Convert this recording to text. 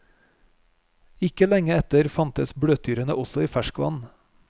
Ikke lenge etter fantes bløtdyrene også i ferskvann.